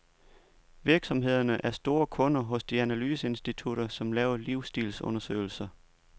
Virksomhederne er store kunder hos de analyseinstitutter, som laver livsstilsundersøgelser.